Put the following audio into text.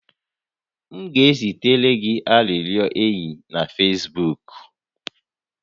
M ga-ezitere gị arịrịọ enyi na Fesbuuk